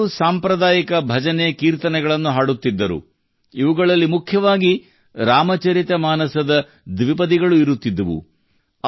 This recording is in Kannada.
ಅವರು ಸಾಂಪ್ರದಾಯಿಕ ಭಜನೆಕೀರ್ತನೆಗಳನ್ನು ಹಾಡುತ್ತಿದ್ದರು ಇವುಗಳಲ್ಲಿ ಮುಖ್ಯವಾಗಿ ರಾಮಚರಿತ ಮಾನಸದ ದ್ವಿಪದಿಗಳು ಇರುತ್ತಿದ್ದವು